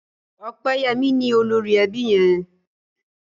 Opeyemi ní olórí ẹbí yén